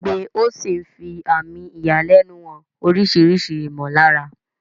Kígbe ó sì ń fi àmì ìyàlẹ́nu hàn oríṣiríṣi ìmọ̀lára.